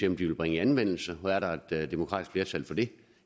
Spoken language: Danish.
om de vil bringe i anvendelse er der et demokratisk flertal for det